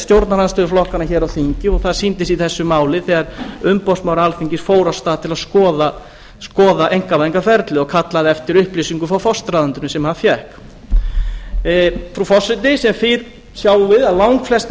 stjórnarandstöðuflokkana hér á þingi og það sýndi sig í þessu máli þegar umboðsmaður alþingis fór af stað til að skoða einkavæðingarferlið og kallaði eftir upplýsingum frá forsætisráðuneytinu sem hann fékk frú forseti sem fyrr sjáum við að langflest